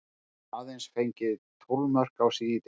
Aðeins fengið tólf mörk á sig í deildinni.